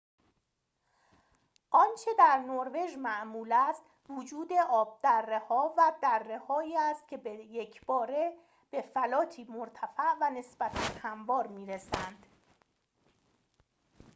آنچه در نروژ معمول است وجود آبدره‌ها و درّه‌هایی است که به یک‌باره به فلاتی مرتفع و نسبتاً هموار می‌رسند